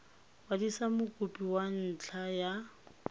kwadisa mokopi ka ntlha ya